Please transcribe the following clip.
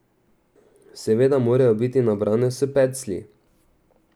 Seveda morajo biti nabrane s peclji.